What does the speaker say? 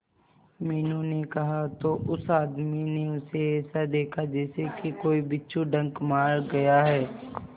मीनू ने कहा तो उस आदमी ने उसे ऐसा देखा जैसे कि कोई बिच्छू डंक मार गया है